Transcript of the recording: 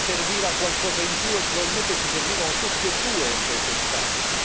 Ci serviva qualcosa in più e probabilmente ci servivano tutti e due entro quest'anno.